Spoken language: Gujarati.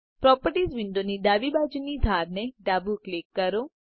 પ્રોપર્ટીઝ વિન્ડોની ડાબી બાજુની ધારને ડાબું ક્લિક કરો